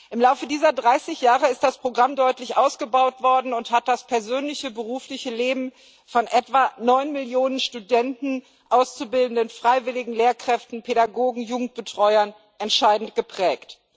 Im Laufe dieser 30 Jahre ist das Programm deutlich ausgebaut worden und hat das persönliche und berufliche Leben von etwa 9 Millionen Studenten, Auszubildenden, Freiwilligen, Lehrkräften, Pädagogen und Jugendbetreuern entscheidend geprägt.